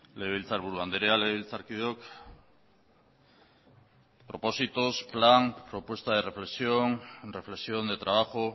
legebiltzarburu andrea legebiltzarkideok propósitos plan propuesta de reflexión reflexión de trabajo